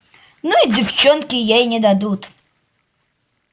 ну и девчонки ей не дадут